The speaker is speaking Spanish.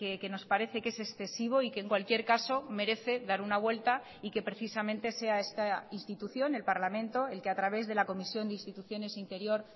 que nos parece que es excesivo y que en cualquier caso merece dar una vuelta y que precisamente sea esta institución el parlamento el que a través de la comisión de instituciones interior